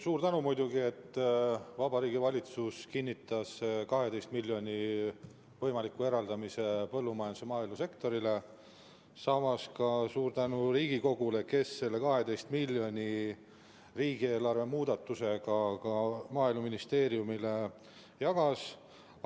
Suur tänu muidugi, et Vabariigi Valitsus kinnitas 12 miljoni võimaliku eraldamise põllumajandus- ja maaelusektorile, samas ka suur tänu Riigikogule, kes need 12 miljonit riigieelarve muudatusega Maaeluministeeriumile jagas.